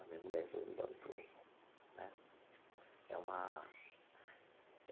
A minha mulher resolveu me dar o troco né é uma.